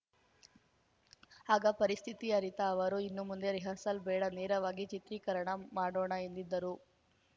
ಆಗ ಪರಿಸ್ಥಿತಿ ಅರಿತ ಅವರು ಇನ್ನು ಮುಂದೆ ರಿಹರ್ಸಲ್‌ ಬೇಡ ನೇರವಾಗಿ ಚಿತ್ರೀಕರಣ ಮಾಡೋಣ ಎಂದಿದ್ದರು